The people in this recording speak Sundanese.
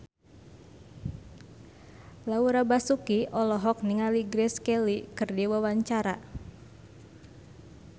Laura Basuki olohok ningali Grace Kelly keur diwawancara